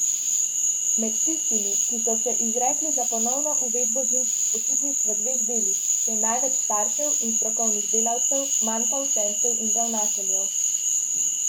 Med tistimi, ki so se izrekli za ponovno uvedbo zimskih počitnic v dveh delih, je največ staršev in strokovnih delavcev, manj pa učencev in ravnateljev.